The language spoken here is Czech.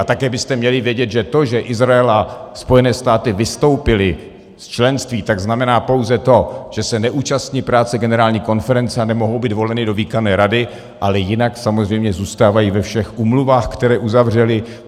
A také byste měli vědět, že to, že Izrael a Spojené státy vystoupily z členství, tak znamená pouze to, že se neúčastní práce Generální konference a nemohou být voleny do výkonné rady, ale jinak samozřejmě zůstávají ve všech úmluvách, které uzavřely.